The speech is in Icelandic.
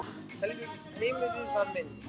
Heimurinn var minn.